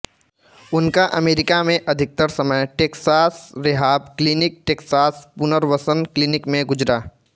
उनका अमेरिका में अधिकतर समय टेक्सास रेहाब क्लिनिक टेक्सास पुनर्वसन क्लिनिक में गुजरा